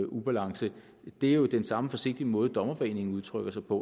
ubalance det er jo den samme forsigtige måde dommerforeningen udtrykker sig på